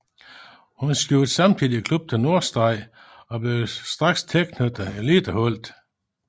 Hun skiftede samtidig klub til Nordstrand og blev straks tilknyttet eliteholdet